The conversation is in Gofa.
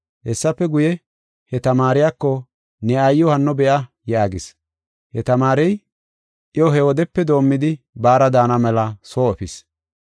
Hessafe guye, he tamaariyako, “Ne aayiw hanno be7a” yaagis. He tamaarey iyo he wodepe doomidi baara daana mela soo efis.